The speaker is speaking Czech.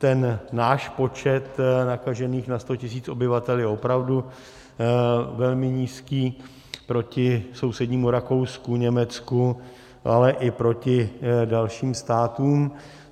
Ten náš počet nakažených na 100 tisíc obyvatel je opravdu velmi nízký proti sousednímu Rakousku, Německu, ale i proti dalším státům.